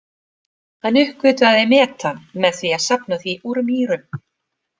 Hann uppgötvaði metan með því að safna því úr mýrum.